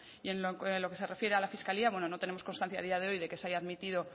y en lo que se refiere a la fiscalía bueno no tenemos constancia a día de hoy de que se haya admitido